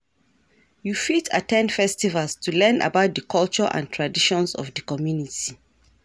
You fit at ten d festivals to learn about di culture and traditions of di community.